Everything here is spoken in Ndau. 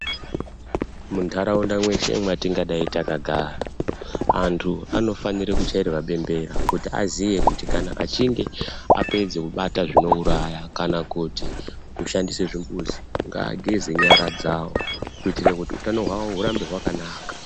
Muntaraunda mweshe mwatingadai takagara antu anofanire kuchairwe bembera kuti aziye kuti kana achinge apedza kubata zvinouraya kana kuti kushandise zvimbuzi ngaageze nyaradzawo kuitire kuti utano hwawo hurambe hwakanaka.